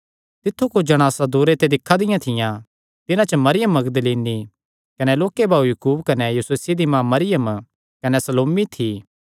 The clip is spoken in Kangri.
तित्थु कुच्छ जणासां दूरा ते दिक्खा दियां थियां तिन्हां च मरियम मगदलीनी कने लोक्के भाऊ याकूब कने योसेसे दी माँ मरियम कने सलोमी थी